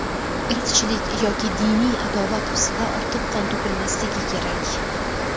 Irqchilik yoki diniy adovat ostida ortiq qon to‘kilmasligi kerak.